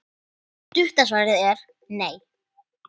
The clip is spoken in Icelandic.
Stutta svarið er: nei.